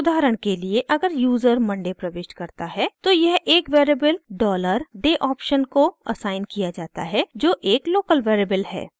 उदाहरण के लिए अगर यूज़र monday प्रविष्ट करता है तो यह एक वेरिएबल dollar dayoption को असाइन किया जाता है जो एक लोकल वेरिएबल है